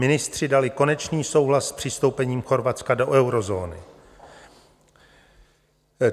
Ministři dali konečný souhlas s přistoupením Chorvatska do eurozóny.